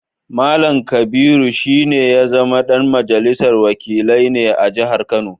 Mallam Kabiru shi ne ya zama ɗan majalisar wakilai ne a jihar Kano